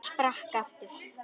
Ég sprakk aftur.